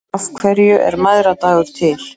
Af hverju er mæðradagur til?